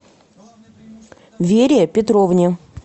вере петровне